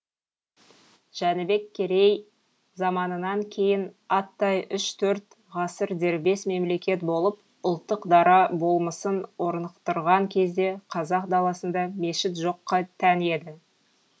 жәнібек керей заманынан кейін аттай үш төрт ғасыр дербес мемлекет болып ұлттық дара болмысын орнықтырған кезде қазақ даласында мешіт жоққа тән еді